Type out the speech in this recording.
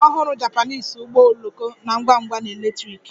The ọhụrụ Japanese ụgbọ oloko na-ngwa ngwa na electric